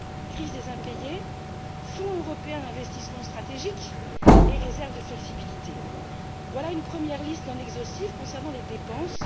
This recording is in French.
Crise des impayés, fonds européen pour les investissements stratégiques et réserve de flexibilité voilà une première liste non exhaustive concernant les dépenses.